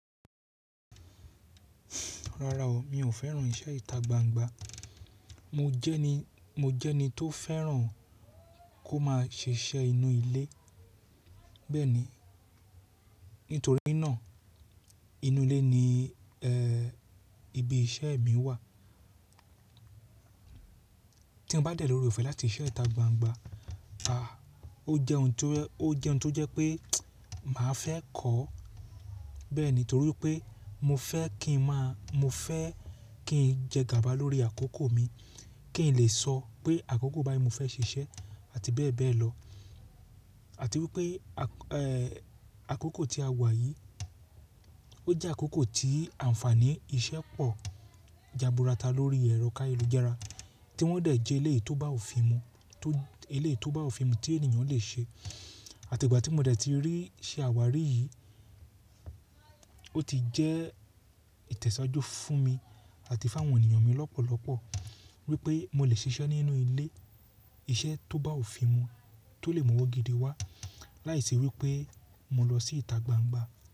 Rara o, mi ò fẹ́ràn iṣẹ́ ìta gbangba. Mo jẹ́ ẹni tó fẹ́ràn kó máa ṣiṣẹ́ inú ilé. Bẹ́ẹ̀ ni, nítorí náà inú ilé ni ibi iṣẹ́ mi wà. Tí mo bá dẹ̀ l'ooreòfẹ̀ láti ṣe iṣẹ́ ìta gbangba, à, ó jẹ́ ohun tó jẹ́ pé màá fẹ́ kọ́. Bẹ́ẹ̀ ni, torí pé mo fẹ́ kí n máa, mo fẹ́ kí n jẹ gàba lórí àkókò mi, kí n lè sọ pé àkókò báyìí ni mo fẹ́ ṣiṣẹ́ àti bẹ́ẹ̀ bẹ́ẹ̀ lọ. Àti wípé àkókò tí a wà yìí, ó jẹ́ àkókò tí ànfàní iṣẹ́ pọ̀ jaburata lórí ẹrọ káyélujára tí wọ́n dẹ̀ jẹ́ eléyìí tó bá òfin mu, eléyìí tó bá òfin mu tí ènìyàn lè ṣe. Àti ìgbà tí mo dẹ̀ ti rí ṣẹ́ àwárí yìí, ó ti jẹ́ ìtẹ̀síwájú fún mi àti fún àwọn ènìyàn mi lọ́pọ̀lọ́pọ̀ wípé mo lè ṣiṣẹ́ nínú ilé, iṣẹ́ tó bá òfin mu tó lè mú ọwọ́ gidi wá láìsí wípé mo lọ sí ìta gbangba.